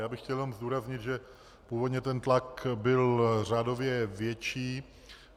Já bych chtěl jenom zdůraznit, že původně ten tlak byl řádově větší.